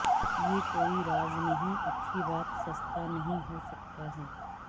یہ کوئی راز نہیں اچھی بات سستا نہیں ہو سکتا ہے